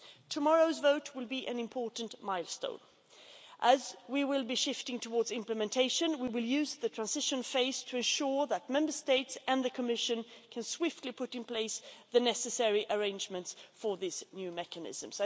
Tomorrow's vote will be an important milestone. As we will be shifting towards implementation, we will use the transition phase to ensure that Member States and the Commission can swiftly put in place the necessary arrangements for this new mechanism.